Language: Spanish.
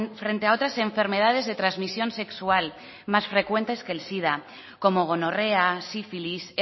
frente a otras enfermedades de transmisión sexual más frecuentes que el sida como gonorrea sífilis